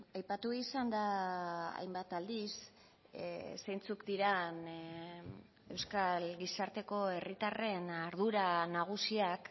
aipatu izan da hainbat aldiz zeintzuk diren euskal gizarteko herritarren ardura nagusiak